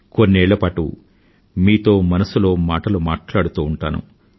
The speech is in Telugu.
కొన్నేళ్లపాటు మీతో మనసులో మాటలు మాట్లాడుతూ ఉంటాను